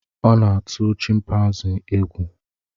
Ọ na-atụ chimpanzii egwu.